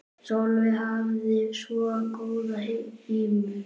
Sólveig hafði svo góða ímynd.